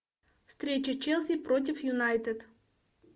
встреча челси против юнайтед